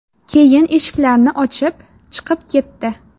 Keyin eshiklarni ochib, chiqib ketdi.